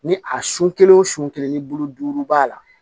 Ni a sun kelen o sun kelen ni bulu duuru b'a la